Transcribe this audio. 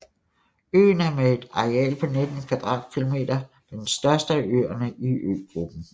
Øen er med et areal på 19 km² den største af øerne i øgruppen